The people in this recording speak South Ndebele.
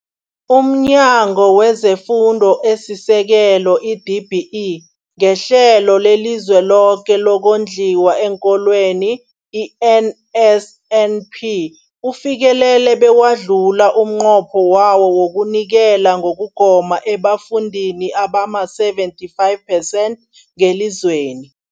UmNyango wezeFundo esiSekelo, i-DBE, ngeHlelo leliZweloke lokoNdliwa eenKolweni, i-NSNP, ufikelele bewadlula umnqopho wawo wokunikela ngokugoma ebafundini abama-75 percent ngelizweni.